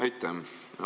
Aitäh!